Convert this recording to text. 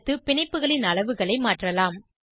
அடுத்து பிணைப்புகளின் அளவுகளை மாற்றலாம்